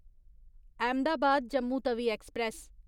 Ahmedabad Jammu Tawi express